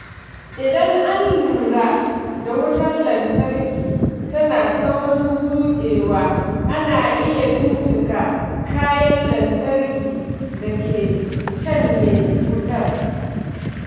Idan an lura da wutar lantarki tana saurin zuƙewa, ana iya bincika kayan lantarki da ke shanye wutar.